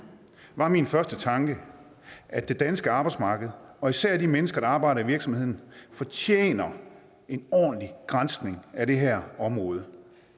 var min første tanke at det danske arbejdsmarked og især de mennesker der arbejder i virksomhederne fortjener en ordentlig granskning af det her område